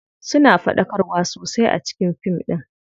Suna faɗakarwa sosai a cikin fin ɗin.